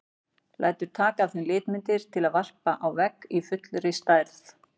Lætur taka af þeim litmyndir til að varpa á vegg í fullri stærð.